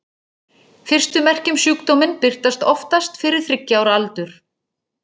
Fyrstu merki um sjúkdóminn birtast oftast fyrir þriggja ára aldur.